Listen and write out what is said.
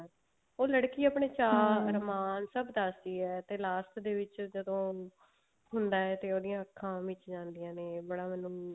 ਉਹ ਲੜਕੀ ਆਪਣੇ ਚਾਹ ਸਭ ਦੱਸਦੀ ਹੈ ਤੇ last ਦੇ ਵਿੱਚ ਜਦੋਂ ਹੈ ਤੇ ਉਹਦੀਆਂ ਮਿਚ ਜਾਂਦੀਆਂ ਨੇ ਬੜਾ ਮੈਨੂੰ